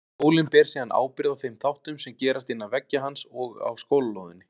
Skólinn ber síðan ábyrgð á þeim þáttum sem gerast innan veggja hans og á skólalóðinni.